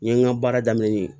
N ye n ka baara daminɛ n ye